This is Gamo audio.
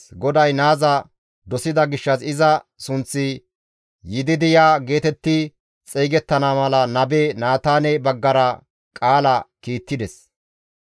GODAY naaza dosida gishshas iza sunththi Yididiya geetetti xeygettana mala nabe Naataane baggara qaala kiittides.